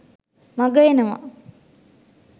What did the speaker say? මඟ එනවා